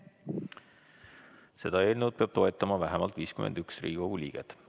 Seda eelnõu peab toetama vähemalt 51 Riigikogu liiget.